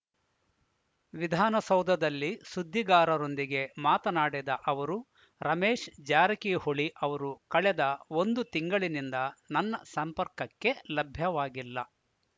ವಿಧಾನಸೌಧದಲ್ಲಿ ಸುದ್ದಿಗಾರರೊಂದಿಗೆ ಮಾತನಾಡಿದ ಅವರು ರಮೇಶ್‌ ಜಾರಕಿಹೊಳಿ ಅವರು ಕಳೆದ ಒಂದು ತಿಂಗಳಿನಿಂದ ನನ್ನ ಸಂಪರ್ಕಕ್ಕೆ ಲಭ್ಯವಾಗಿಲ್ಲ